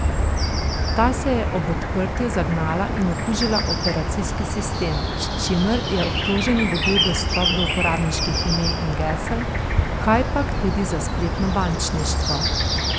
Ta se je ob odprtju zagnala in okužila operacijski sistem, s čimer je obtoženi dobil dostop do uporabniških imen in gesel, kajpak tudi za spletno bančništvo.